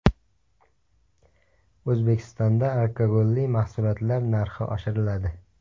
O‘zbekistonda alkogolli mahsulotlar narxi oshiriladi.